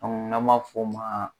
An na ma fɔ ma.